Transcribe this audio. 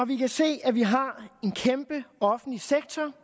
vi kan se at vi har en kæmpe offentlig sektor